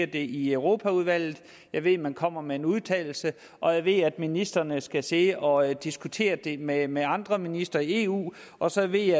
det i europaudvalget jeg ved at man kommer med en udtalelse og jeg ved at ministrene skal sidde og diskutere det med med andre ministre i eu og så ved